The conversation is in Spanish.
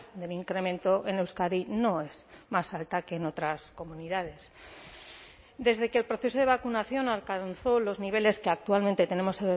del incremento en euskadi no es más alta que en otras comunidades desde que el proceso de vacunación alcanzó los niveles que actualmente tenemos